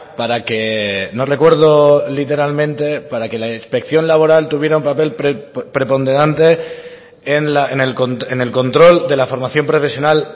para que no recuerdo literalmente para que la inspección laboral tuviera un papel preponderante en el control de la formación profesional